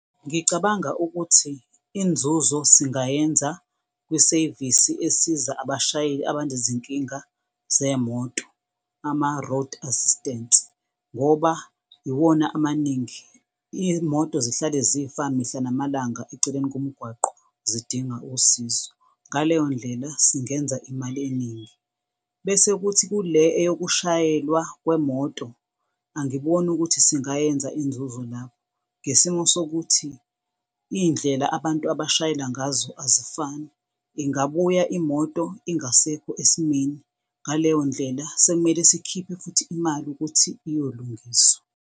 Ngicabanga ukuthi inzuzo singayenza kwisevisi esiza abashayeli abanezinkinga zemoto, ama-road assistance ngoba iwona amaningi, imoto zihlale zifa mihla namalanga eceleni komgwaqo, zidinga usizo. Ngaleyo ndlela singenza imali eningi. Bese kuthi kule eyokushayelwa kwemoto angiboni ukuthi singayenza inzuzo lapho, ngesimo sokuthi iy'ndlela abantu abashayela ngazo azifani, ingabuya imoto, ingasekho esimeni. Ngaleyo ndlela sekumele sikhiphe futhi imali ukuthi iyolungiswa.